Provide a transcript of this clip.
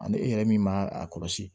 Ani e yɛrɛ min b'a a kɔlɔsi